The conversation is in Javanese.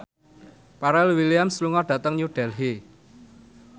Pharrell Williams lunga dhateng New Delhi